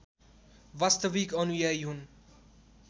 वास्तविक अनुयायी हुन्